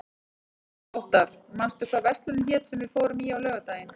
Óttar, manstu hvað verslunin hét sem við fórum í á laugardaginn?